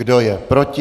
Kdo je proti?